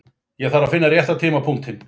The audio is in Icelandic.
Það þarf að finna rétta tímapunktinn.